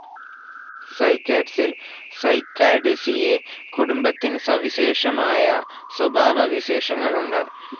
സൈക്കാഡ്സിൽ സൈക്കഡേസിയേ കുടുംബത്തിന് സവിശേഷമായ സ്വഭാവവിശേഷങ്ങളുണ്ട്.